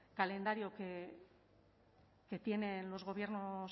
calendario que tienen los gobiernos